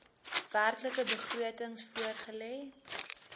werklike begrotings voorgelê